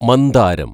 മന്ദാരം